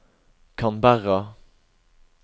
Canberra